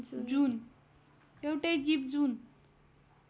एउटै जीव जुन